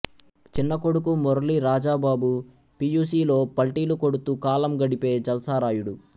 చిన్న కొడుకు Murali Rajababu P U C లో పల్టీలు కొడుతూ కాలం గడిపే జల్సా రాయుడు